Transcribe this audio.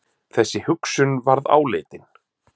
Þessi hugsun varð áleitin.